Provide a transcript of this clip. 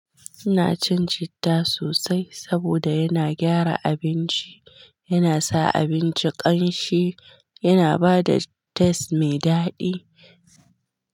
Ina cin citta sosai saboda yana gyara abinci, yana sa abinci ƙanshi, yana bada taste mai daɗi.